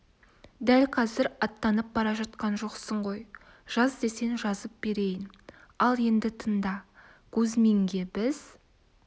дәл қазір аттанып бара жатқан жоқсың ғой жаз десең жазып берейін ал енді тыңда кузьминге біз